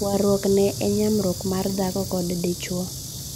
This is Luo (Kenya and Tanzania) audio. Waruok ne e nyamruok mar dhako kod dichuo.